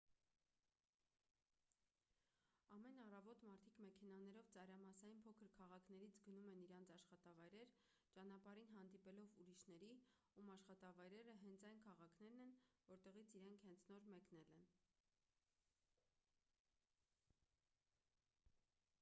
ամեն առավոտ մարդիկ մեքենաներով ծայրամասային փոքր քաղաքներից գնում են իրենց աշխատավայրեր ճանապարհին հանդիպելով ուրիշների ում աշխատավայրերը հենց այն քաղաքներն են որտեղից իրենք հենց նոր մեկնել են